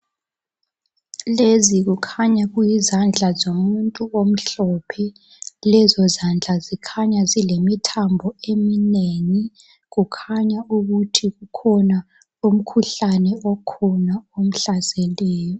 Lezi khukhanya kuyizandla zomuntu omhlophe. Lezo zandla zikhanya zilemithambo eminengi, kukhanya ukuthi kukhona umkhuhlane omhlaseleyo.